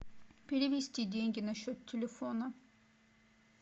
перевести деньги на счет телефона